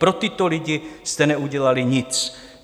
Pro tyto lidi jste neudělali nic.